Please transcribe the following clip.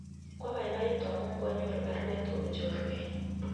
Kwapaipaitu amun kwanyoru parwet kopun chorwenyu